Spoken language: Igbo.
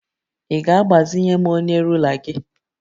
Ị ga-agbazinye m onye rula gị?